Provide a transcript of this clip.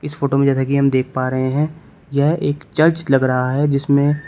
इस फोटो में जैसा कि हम देख पा रहे हैं यह एक चर्च लग रहा है जिसमें --